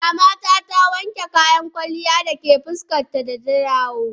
Mama ta, ta wanke kayan ƙwalya da ke fuskar ta da ta dawo.